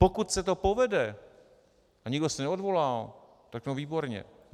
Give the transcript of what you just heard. Pokud se to povede a nikdo se neodvolal, no tak výborně.